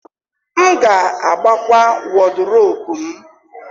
M ga-agbakwa Wọdụropu m.